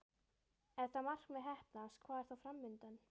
Ef það markmið heppnast, hvað er þá fram undan?